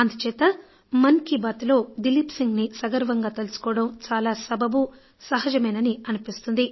అందుచేత మన్ కీ బాత్ లో దిలీప్ సిన్హ్ ని సగర్వంగా తలుచుకోవడం చాలా సబబు సహజమేనని అనిపిస్తుంది